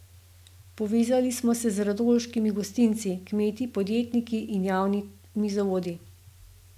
Povezali smo se z radolškimi gostinci, kmeti, podjetniki in javnimi zavodi.